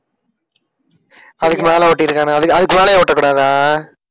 அதுக்கு மேல ஒட்டிருக்கானுங்க அதுக்~ அதுக்கு மேலயே ஒட்டக்கூடாதா?